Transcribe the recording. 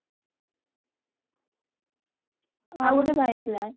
ଆଉଗୋଟେ ବାହା ହେଇଥିଲା